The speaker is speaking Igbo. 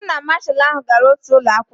Mụ na Masha ahụ gara otu ụlọ akwụkwọ